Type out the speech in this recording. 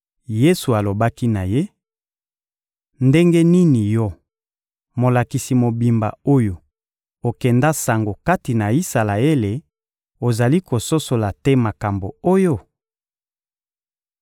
Yesu alobaki na ye: — Ndenge nini yo, molakisi mobimba oyo okenda sango kati na Isalaele, ozali kososola te makambo oyo?